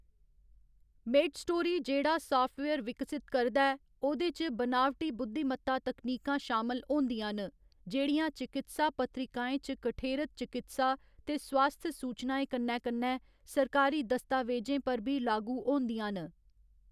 MedStory जेह्‌‌ड़ा software विकसत करदा ऐ, ओह्‌‌‌‌दे च बनावटी बुद्धिमत्ता तकनीकां शामल होंदियां न, जेह्‌‌ड़ियां चकित्सा पत्रिकाएं च कठेरत चकित्सा ते स्वास्थ सूचनाएं कन्नै कन्नै सरकारी दस्तावेजें पर बी लागू होंदियां न।